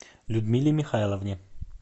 людмиле михайловне